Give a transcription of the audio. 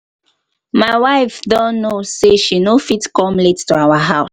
my wife don know say she no fit come late to our house